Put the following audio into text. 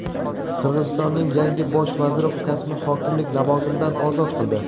Qirg‘izistonning yangi Bosh vaziri ukasini hokimlik lavozimidan ozod qildi.